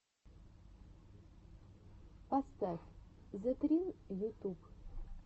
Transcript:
поставь зэтрин ютуб